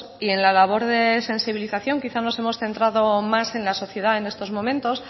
y en la labor de sensibilización quizá nos hemos centrado más en la sociedad en estos momentos